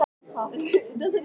Ekkert sérstaklega vel.